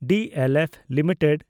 DLF limited